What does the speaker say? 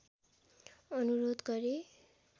अनुरोध गरे